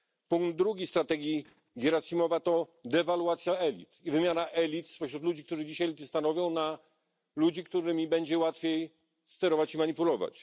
Punkt drugi strategii Gierasimowa to dewaluacja elit i wymiana elit spośród ludzi, którzy dzisiaj elity stanowią, na ludzi, którymi będzie łatwiej sterować i manipulować.